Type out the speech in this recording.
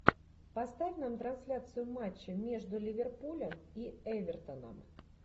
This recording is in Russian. поставь нам трансляцию матча между ливерпулем и эвертоном